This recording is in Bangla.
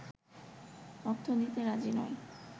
অর্থ দিতে রাজি নয়